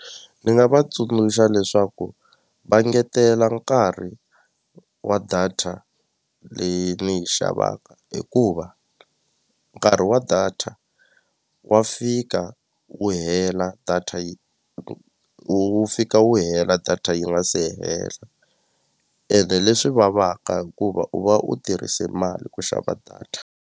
Ni nga va tsundzuxa leswaku va ngetela nkarhi wa data leyi ni yi xavaka hikuva nkarhi wa data wa fika wu hela data yi wu fika wu hela data yi nga se hela ene leswi vavaka hikuva u va u tirhise mali ku xava data.